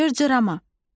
Cırcırama.